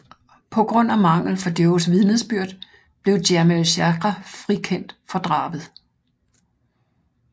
På grund af mangel fra Joes vidnesbyrd blev Jamiel Chagra frikendt for drabet